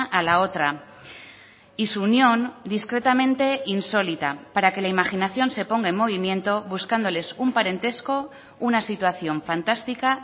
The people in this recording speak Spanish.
a la otra y su unión discretamente insólita para que la imaginación se ponga en movimiento buscándoles un parentesco una situación fantástica